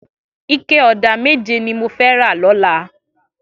Iké ọ̀dá méjé ni mó fè rà lọ̀là